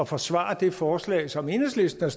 forsvare det forslag som enhedslisten